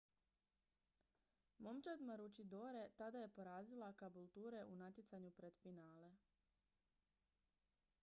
momčad maroochydore tada je porazila caboolture u natjecanju pred finale